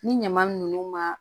Ni ɲama ninnu ma